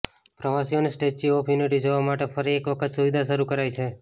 પ્રવાસીઓને Statue of Unity જોવા માટે ફરી એક વખત સુવિધા શરૂ કરાઈ છે